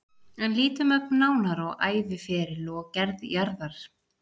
En lítum ögn nánar á æviferil og gerð jarðar.